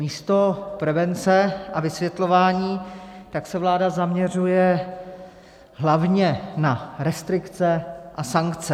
Místo prevence a vysvětlování se vláda zaměřuje hlavně na restrikce a sankce.